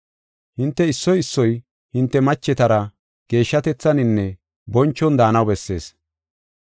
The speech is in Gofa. Hinte issoy issoy, hinte machetara geeshshatethaninne bonchon daanaw bessees.